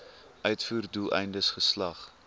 uitvoer doeleindes geslag